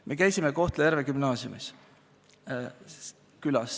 Me käisime külas Kohtla-Järve Gümnaasiumis.